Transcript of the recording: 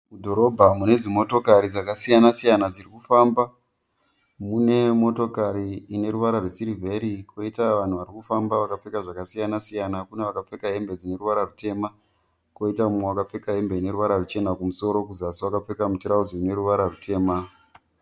Mudhorobha mune dzimotokari dzakasiyana siyana dziri kufamba. Mune motokari ine ruvara rwesirivheri koita vanhu varikufamba vakapfeka zvakasiyana siyana. Kune vakapfeka hembe dzine ruvara rutema koita umwe akapfeka hembe ine ruvara ruchena kumusoro kuzasi akapfeka mutirauzi une ruvara rutema.